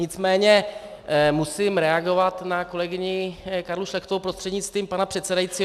Nicméně musím reagovat na kolegyni Karlu Šlechtovou prostřednictvím pana předsedajícího.